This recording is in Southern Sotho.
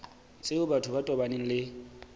tseo batho ba tobaneng le